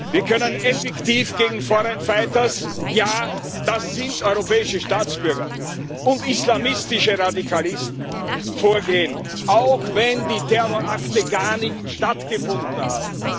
Wir können effektiv gegen foreign fighters ja, das sind europäische Staatsbürger und islamistische Radikalisten vorgehen, auch wenn die Terrorakte gar nicht stattgefunden haben.